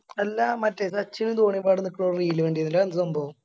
അല്ല മറ്റേ സച്ചിനും ധോണിയും ഒക്കെവിടെ നിക്കണ Reel കണ്ടിന്നല്ലോ അയെന്താ സംഭവം